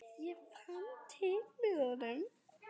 Ég fann til með honum.